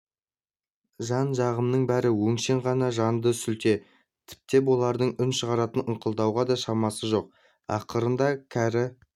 жан-жағымның бәрі өңшең ғана жанды сүлде тіптен олардың үн шығарып ыңқылдауға да шамасы жоқ ақырында кәрі